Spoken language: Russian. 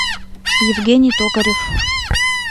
евгений токарев